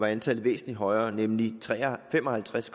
antallet væsentlig højere nemlig fem og halvtreds